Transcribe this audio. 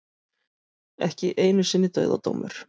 Ekki einu sinni dauðadómur.